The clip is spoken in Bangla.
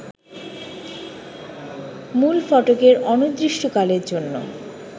মূলফটকে অনিদির্ষ্টকালের জন্য